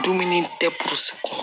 Dumuni tɛ kɔnɔ